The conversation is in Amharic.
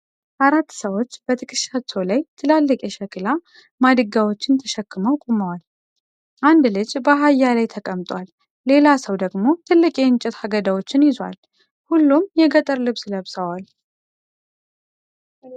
አራት ሰዎች በትከሻቸው ላይ ትላልቅ የሸክላ ማድጋዎችን ተሸክመው ቆመዋል። አንድ ልጅ በአህያ ላይ ተቀምጧል። ሌላ ሰው ደግሞ ትልቅ የእንጨት አገዳዎችን ይዟል። ሁሉም የገጠር ልብስ ለብሰዋል።